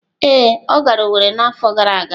Ee, ọ gara Owerri n’afọ gara aga